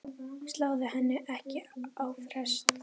Sláðu henni ekki á frest.